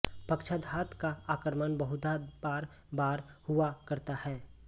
पक्षाधात का आक्रमण बहुधा बार बार हुआ करता है